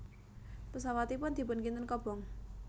Pesawatipun dipun kinten kobong